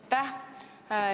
Aitäh!